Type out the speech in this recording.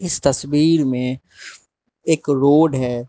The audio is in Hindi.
इस तस्वीर में एक रोड है।